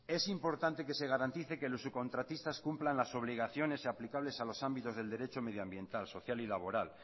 es importante que se garantice que los subcontratistas cumplan las obligaciones aplicables a los ámbitos del derecho medioambiental social y laboral